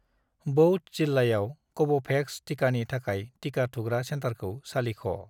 बौध जिल्लायाव कव'भेक्स टिकानि थाखाय टिका थुग्रा सेन्टारखौ सालिख'।